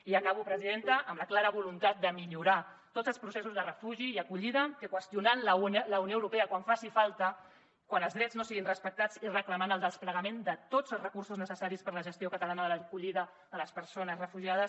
i acabo presidenta amb la clara voluntat de millorar tots els processos de refugi i acollida qüestionant la unió europea quan faci falta quan els drets no siguin respectats i reclamant el desplegament de tots els recursos necessaris per a la gestió catalana de l’acollida de les persones refugiades